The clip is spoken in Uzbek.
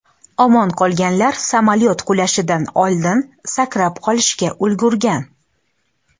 Omon qolganlar samolyot qulashidan oldin sakrab qolishga ulgurgan.